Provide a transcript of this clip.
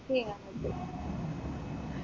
miss ചെയ്യാൻ പറ്റു